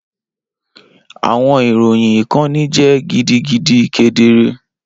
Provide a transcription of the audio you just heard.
Awọn iroyin ikanni jẹ gidigidi kedere